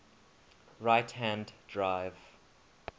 right hand drive